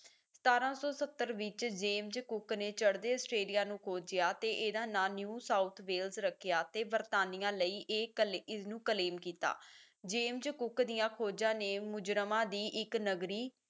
ਸਤਾਰਾਂ ਸੌ ਸੱਤਰ ਵਿੱਚ ਜੇਮਜ਼ ਕੁਕ ਨੇ ਚੜਦੇ ਆਸਟ੍ਰੇਲੀਆ ਨੂੰ ਖੋਜਿਆ ਤੇ ਇਹਦਾ ਨਾਂ new ਸਾਊਥ ਵੇਲਸ ਰੱਖਿਆ ਤੇ ਬਰਤਾਨੀਆਂ ਲਈ ਏਕਲ ਇਸਨੂੰ claim ਕੀਤਾ ਜੇਮਜ਼ ਕੁਕ ਦੀਆਂ ਖੋਜਾਂ ਨੇ ਮੁਜਰਮਾਂ ਦੀ ਇੱਕ ਨਗਰੀ